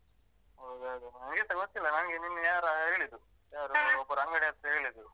ಹೌದ ಅದೆ, ನಂಗೆಸ ಗೊತ್ತಿಲ್ಲ ನಂಗೆ ನಿನ್ನೆ ಯಾರೋ ಹೇಳಿದ್ದು. ಒಬ್ರು ಅಂಗಡಿ ಹತ್ರ ಹೇಳಿದ್ರು.